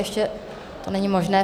Ještě to není možné.